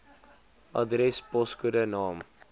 adres poskode naam